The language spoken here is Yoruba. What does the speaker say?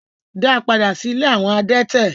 Da padà sí ilé awọn adẹ̀tẹ̀